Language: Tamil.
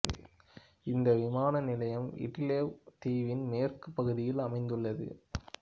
இந்த விமான நிலையம் விட்டிலெவு தீவின் மேற்குப் பகுதியில் அமைந்துள்ளது